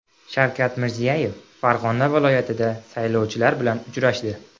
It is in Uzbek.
Shavkat Mirziyoyev Farg‘ona viloyatida saylovchilar bilan uchrashdi.